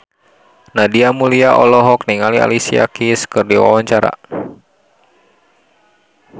Nadia Mulya olohok ningali Alicia Keys keur diwawancara